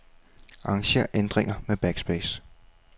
Arranger ændringer med backspace.